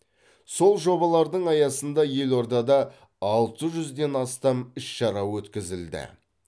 сол жобалардың аясында елордада алты жүзден астам іс шара өткізілді